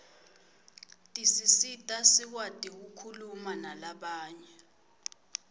tisisita sikwati kukhuluma nalabanye